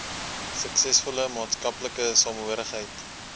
suksesvolle maatskaplike samehorigheid